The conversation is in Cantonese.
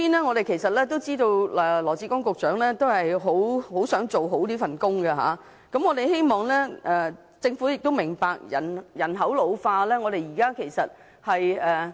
我們知道羅致光局長很想做好這份工作，我們希望政府明白現時人口老化的情況。